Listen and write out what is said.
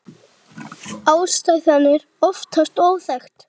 Ástæðan er oftast óþekkt.